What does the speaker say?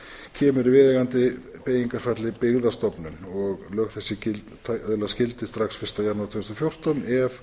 kemur í viðeigandi beygingarfalli byggðastofnun lög þessi öðlast gildi strax fyrsta janúar tvö þúsund og fjórtán ef